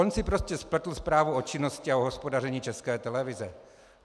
On si prostě spletl zprávu o činnosti a o hospodaření České televize.